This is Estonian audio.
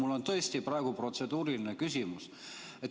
Mul on tõesti praegu protseduuriline küsimus.